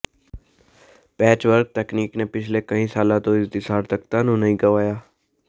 patch work ਤਕਨੀਕ ਨੇ ਪਿਛਲੇ ਕਈ ਸਾਲਾਂ ਤੋਂ ਇਸ ਦੀ ਸਾਰਥਕਤਾ ਨੂੰ ਨਹੀਂ ਗਵਾਇਆ